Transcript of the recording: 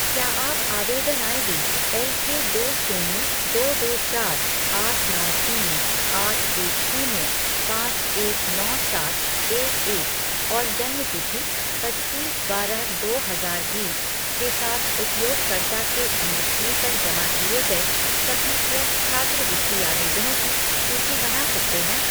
क्या आप आवेदन आईडी एलके दो शून्य दो दो चार आठ नौ तीन आठ एक शून्य पाँच एक नौ सात एक एक और जन्म तिथि पच्चीस बारह दो हजार बीस के साथ उपयोगकर्ता के एनएसपी पर जमा किए गए सभी फ़्रेश छात्रवृत्ति आवेदनों की सूची बना सकते हैं